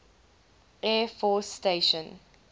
air force station